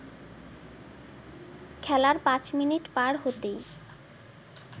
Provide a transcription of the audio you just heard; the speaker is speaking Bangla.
খেলার পাঁচ মিনিট পার হতেই